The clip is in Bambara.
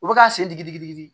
U bɛ k'a sen digi digi digi